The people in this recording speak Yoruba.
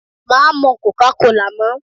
Má mu cólácolà mọ́.